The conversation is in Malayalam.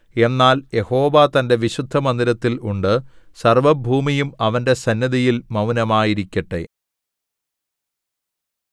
എന്നാൽ യഹോവ തന്റെ വിശുദ്ധമന്ദിരത്തിൽ ഉണ്ട് സർവ്വഭൂമിയും അവന്റെ സന്നിധിയിൽ മൗനമായിരിക്കട്ടെ